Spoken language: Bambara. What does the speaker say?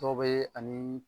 Dɔw bɛ a ni